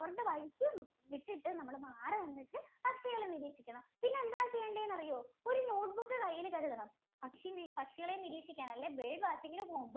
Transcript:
അവരുടെ വഴിക്ക് വിട്ടിട്ട് നമ്മൾ മാറി നിന്നിട്ട് പക്ഷികളെ നിരീക്ഷിക്കണം. പിന്നെ എന്താ ചെയ്യണ്ടെന്ന് അറിയോ? ഒരു note book കയ്യിൽ കരുതണം. പക്ഷി പക്ഷികളെ നിരീക്ഷിക്കാൻ അല്ലേ bird watching ഇന് പോവാൻ